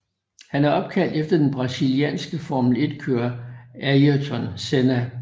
Han er opkaldt efter den Brasilianske Formel 1 kører Ayrton Senna